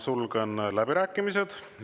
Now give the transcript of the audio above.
Sulgen läbirääkimised.